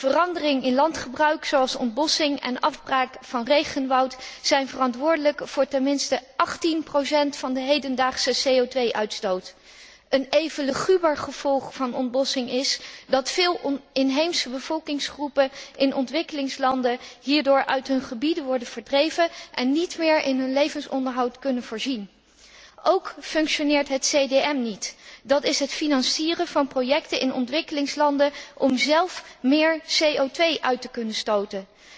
Verandering in landgebruik, zoals ontbossing en afbraak van regenwoud, zijn verantwoordelijk voor ten minste 18 procent van de hedendaagse CO uitstoot. Een even luguber gevolg van ontbossing is dat veel inheemse bevolkingsgroepen in ontwikkelingslanden hierdoor uit hun gebieden worden verdreven en niet meer in hun levensonderhoud kunnen voorzien. Ook functioneert het CDM niet, dat is het financieren van projecten in ontwikkelingslanden om zelf meer CO te kunnen uitstoten.